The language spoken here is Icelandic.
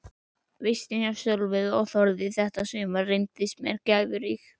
Vistin hjá Sólveigu og Þórði þetta sumar reyndist mér gæfurík.